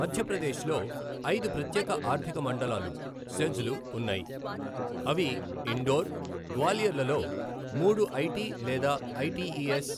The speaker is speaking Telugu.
మధ్యప్రదేశ్లో ఐదు ప్రత్యేక ఆర్థిక మండలాలు, సెజ్ లు ఉన్నాయి, అవి ఇండోర్, గ్వాలియర్లలో మూడు ఐటి లేదా ఐటిఇఎస్,